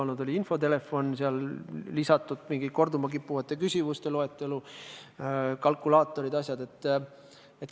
Need on infotelefon, selle teema lisamine korduma kippuvate küsimuste loetellu, kalkulaatorid ja muudki asjad.